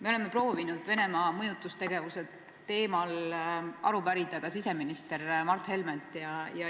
Me oleme proovinud Venemaa mõjutustegevuse teemal aru pärida ka siseminister Mart Helmelt.